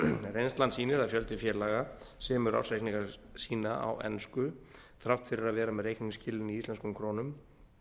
reynslan sýnir að fjöldi félaga semur ársreikninga sína á ensku þrátt fyrir að vera með reikningsskilin í íslenskum krónum